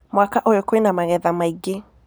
Mwaka ũyũ kwĩna magetha maingĩ.